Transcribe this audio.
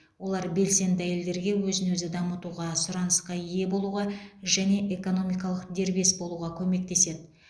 олар белсенді әйелдерге өзін өзі дамытуға сұранысқа ие болуға және экономикалық дербес болуға көмектеседі